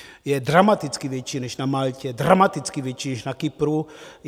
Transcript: Je dramaticky větší než na Maltě, dramaticky větší než na Kypru.